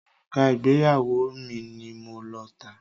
Òrùka ìgbéyàwó mi ni mo lọ tà.